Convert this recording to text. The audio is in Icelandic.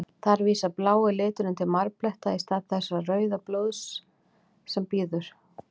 Þar vísar blái liturinn til marbletta, í stað þess rauða sem vísar til blóðs.